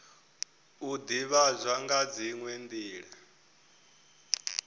u ivhadzwa nga dziwe nila